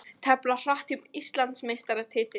Tefla hratt um Íslandsmeistaratitil